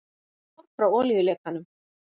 Ár frá olíulekanum